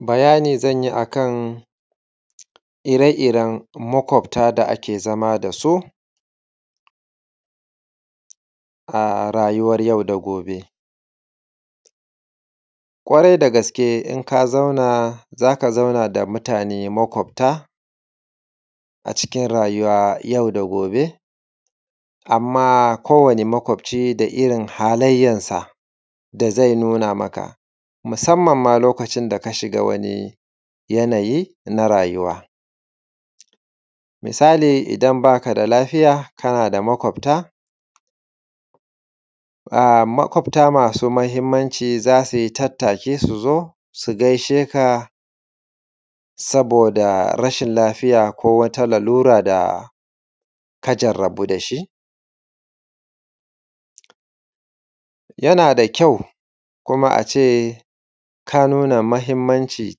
Bayani zan yi a kan ire iren maƙwabta da ake zama da su a rayuwar yau da gobe. Ƙwaeai da gaske in ka zauna, za ka zauna da mutane maƙwabta a cikin rayuwa yau da gobe, amma ko wani irin maƙabci da irin halayyansa da zai nuna maka, musamman ma lokacin da ka shiga wani yanayi na rayuwa. Misali idan ba ka da lafiya, kana da maƙwabta, maƙwabta masu muhimmanci za su yi tattaki su zo su gaishe ka ka saboda rashin lafiya ko wata larura da ka jarrabu da shi. Yana da kyau kuma a ce ka nuna muhimmanci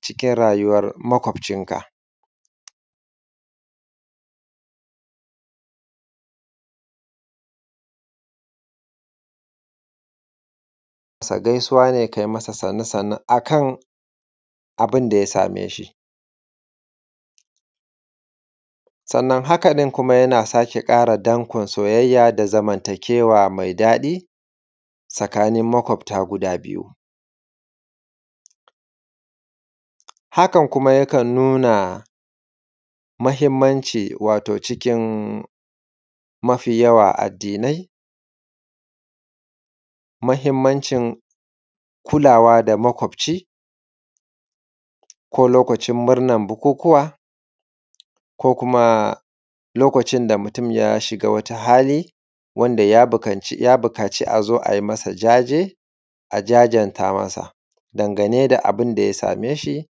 cikin rayuwar maƙwabcinka. Gaisuwa ne ka yi masa masa sannu sannu a kana bin da ya same shi. Sannan haka ɗin kuma yana sake ƙara danƙon soyayya da zamantakewa mai daɗi tsakanin maƙwabta guda biyu. Hakan kuma yakan nuna muhimmanci wato cikin mafi yawan addinai, muhimmancin kulawa da maƙwabci ko lokacin murnan bukukuwa ko kuma lokacin da mutum ya shiga wata hali wanda ya buƙaci a zo a yi masa jaje, a jajanta masa dangane da abin da ya same shi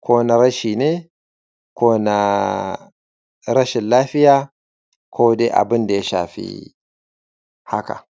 ko na rashi ne ko na rashin lafiya ko dai abin da ya shafi haka.